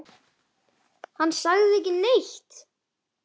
Hann sagði ekki neitt.